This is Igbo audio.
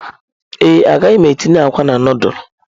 Mba, agaghị m etinye akwa na nudulu.